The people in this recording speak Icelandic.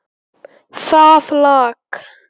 Það lak.